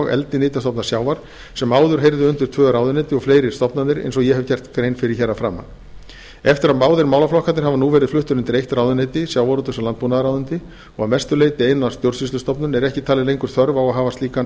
eldi nytjastofna sjávar sem áður heyrðu undir tvö ráðuneyti og fleiri stofnanir eins og ég hef gert grein fyrir hér að framan eftir að báðir málaflokkarnir hafa nú verið fluttir undir eitt ráðuneyti sjávarútvegs og landbúnaðarráðuneyti og að mestu leyti eina stjórnsýslustofnun er ekki talin lengur þörf á að hafa slíkan